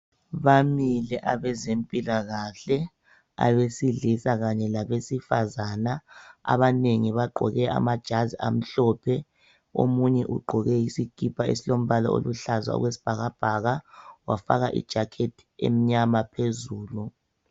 Bamile abezempilakahle abesilisa kanye labesifazana abanengi bagqoke amajazi amhlophe omunye ugqoke isikipa esilombala oluhlaza okwesibhakabhaka wafaka i"jacket " emnyama phezulu.